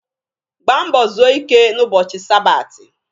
Gbaa mbọ zuo ike n'ụbọchị sabati!